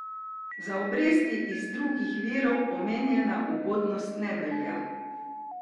Za obresti iz drugih virov omenjena ugodnost ne velja.